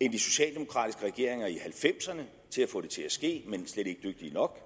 end de socialdemokratiske regeringer i nitten halvfemserne til at få det til at ske men slet ikke dygtige nok